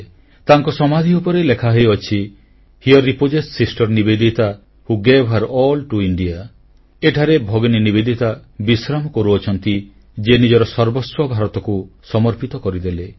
ତାଙ୍କ ସମାଧି ଉପରେ ମୃତ୍ୟୁଲେଖ ଏଭଳି ଲେଖା ହୋଇଛି here repose sister Nivedita who gave her all to India ଏଠାରେ ଭଗିନୀ ନିବେଦିତା ବିଶ୍ରାମ କରୁଅଛନ୍ତି ଯିଏ ନିଜର ସର୍ବସ୍ୱ ଭାରତକୁ ସମର୍ପିତ କରିଦେଲେ